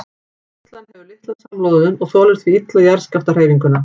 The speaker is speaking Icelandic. Torfhleðslan hefur litla samloðun og þolir því illa jarðskjálftahreyfinguna.